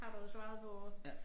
Har du svaret på